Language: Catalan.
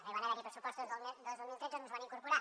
no hi van haver pressupostos el dos mil tretze i no es va incorporar